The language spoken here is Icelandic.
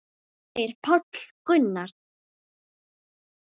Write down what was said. segir Páll Gunnar.